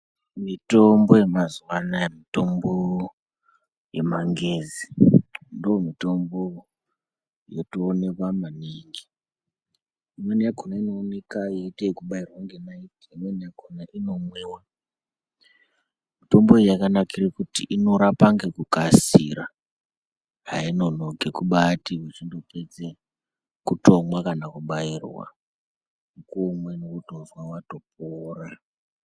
Mitombo yemazuva anaya mitombo yemangezi ndomitombo yotoonekwa maningi inoonekwa yeite yekubayirwa neimwe inomwiwa mitombo yakanakira kuti inorapa ngekukasira hainonoki kumbaiti uchingooedze kumwa kana kubayirwe unotozwa watopora.